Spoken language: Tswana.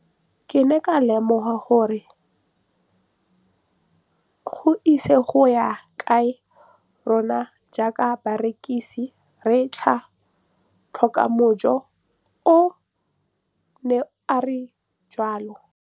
Ke ne ka lemoga gore go ise go ye kae rona jaaka barekise re tla tlhoka mojo, o ne a re jalo.